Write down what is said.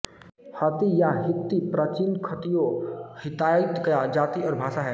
हत्ती या हित्ती प्राचीन खत्तियों हित्ताइत की जाति और भाषा है